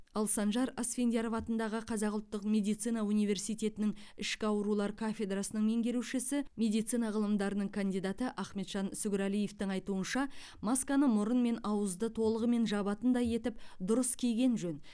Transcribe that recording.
ал санжар асфендияров атындағы қазақ ұлттық медицина университетінің ішкі аурулар кафедрасының меңгерушісі медицина ғылымдарының кандидаты ахметжан сүгірәлиевтің айтуынша масканы мұрын мен ауызды толығымен жабатындай етіп дұрыс киген жөн